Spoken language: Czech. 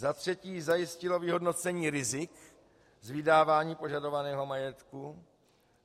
Za třetí zajistilo vyhodnocení rizik z vydávání požadovaného majetku.